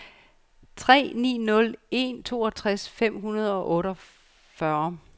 tre ni nul en toogtres fem hundrede og otteogfyrre